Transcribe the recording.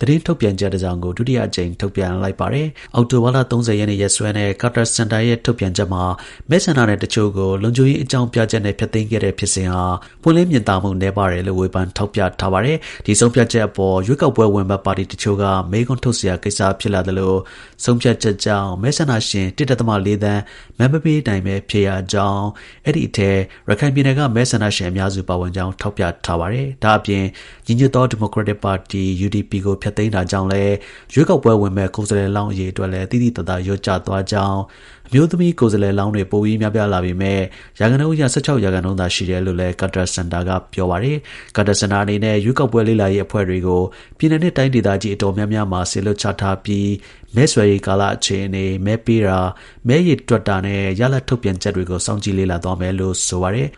သတင်းထုတ်ပြန်ချက် တစ်စောင်ကို ဒုတိယအကြိမ် ထုတ်ပြန်လိုက် ပါတယ်။ အောက်တိုဘာလ ၃၀ ရက်နေ့ ရက်စွဲနဲ့ Carter Center ရဲ့ ထုတ်ပြန်ချက်မှာ မဲဆန္ဒနယ်တစ်ချို့ကို လုံခြုံရေး အကြောင်းပြချက်နဲ့ ဖျက်သိမ်းခဲ့တဲ့ ဖြစ်စဉ်ဟာ ပွင့်လင်းမြင်သာမှု နည်းပါးတယ်လို့ ဝေဖန် ထောက်ပြထားပါတယ်။ ဒီဆုံးဖြတ်ချက်အပေါ် ရွေးကောက်ပွဲ ဝင်မယ့် ပါတီတစ်ချို့က မေးခွန်းထုတ်စရာ ဆုံးဖြတ်ချက်ကြောင့် မဲဆန္ဒရှင် ၁.၄ သန်း မဲမပေးနိုင်ဘဲ ဖြစ်ရကြောင်း အဲဒီ အထဲ ရခိုင်ပြည်နယ်က မဲဆန္ဒရှင် အများစု ပါဝင်ကြောင်း ထောက်ပြထား ပါတယ်။ ဒါ့အပြင် ညီညွတ်သော ဒီမိုကရက်တစ် ပါတီ (UDP) ကို ဖျက်သိမ်းတာကြောင့်လည်း ရွေးကောက်ပွဲ ဝင်မယ့် ကိုယ်စားလှယ်လောင်း အရေအတွက်လည်း သိသိသာသာ လျော့ကျသွားခဲ့ကြောင်း၊ အမျိုးသမီးကိုယ်စားလှယ်လောင်းတွေ ပိုပြီးများပြားလာပေမဲ့ရာခိုင်နှုန်း အရ ၁၆ ရာခိုင်နှုန်းသာ ရှိတယ်လို့လည်း Carter Center ရဲ့ ကြေညာချက်မှာ ပါရှိပါတယ်။ Carter Center အနေနဲ့ ရွေးကောက်ပွဲ လေ့လာရေး အဖွဲ့တွေကို ပြည်နယ်နဲ့ တိုင်းဒေသကြီး အတော်များများမှာ စေလွှတ်ချထားပြီး မဲဆွယ်ရေးကာလ အခြေအနေ၊ မဲပေးတာ၊ မဲရေတွက်တာနဲ့ ရလဒ် ထုတ်ပြန်ချက်တွေကို စောင့်ကြည့်လေ့လာသွားမယ်လို့ ဆို ပါတယ်